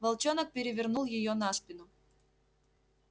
волчонок перевернул её на спину